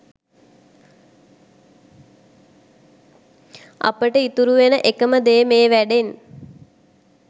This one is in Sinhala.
අපිට ඉතුරු වෙන එකම දෙ මේ වැඩෙන්.